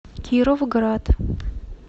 кировград